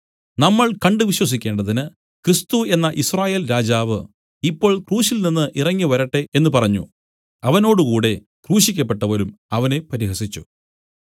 നമ്മൾ കണ്ട് വിശ്വസിക്കേണ്ടതിന് ക്രിസ്തു എന്ന യിസ്രായേൽ രാജാവ് ഇപ്പോൾ ക്രൂശിൽ നിന്നു ഇറങ്ങിവരട്ടെ എന്നു പറഞ്ഞു അവനോടുകൂടെ ക്രൂശിക്കപ്പെട്ടവരും അവനെ പരിഹസിച്ചു